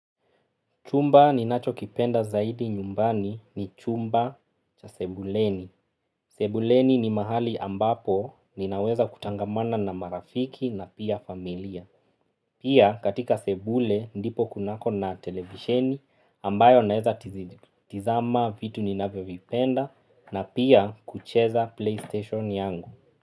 Chumba ni nacho kipenda zaidi nyumbani ni chumba cha sebuleni. Sebuleni ni mahali ambapo ninaweza kutangamana na marafiki na pia familia. Pia katika sebule ndipo kunako na televisheni ambayo naweza tizama vitu ninavyovipenda na pia kucheza playstation yangu.